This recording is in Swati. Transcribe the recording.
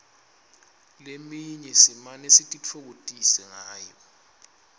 leminye simane sititfokotise ngayo